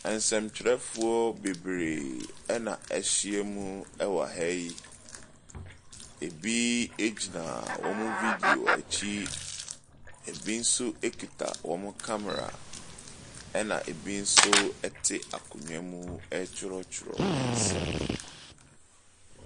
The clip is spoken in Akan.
Nsɛntwerɛfoɔ bebree na wɔahyiam wɔ ha yi. Ebi gyina wɔn video akyi. Ebi nso kuta wɔn kamera, ɛnna ebi nso te akonnwa mu retwerɛtwerɛ nsɛm.